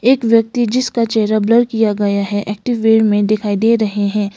एक व्यक्ति जिसका चेहरा ब्लर किया गया है एक्टिव वे मे दिखाई दे रहे है।